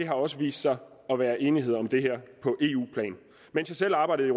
har også vist sig at være enighed om det på eu plan mens jeg selv arbejdede i